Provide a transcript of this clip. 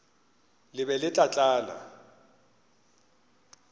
le be le tla tlala